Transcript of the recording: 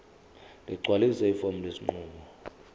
ligcwalise ifomu lesinqumo